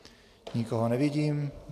Nikoho nevidím.